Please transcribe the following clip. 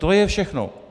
To je všechno.